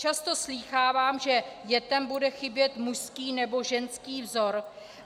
Často slýchávám, že dětem bude chybět mužský nebo ženský vzor.